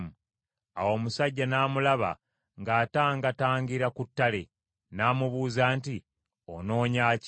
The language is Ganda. Awo omusajja n’amulaba ng’atangatangira ku ttale, n’amubuuza nti, “Onoonya ki?”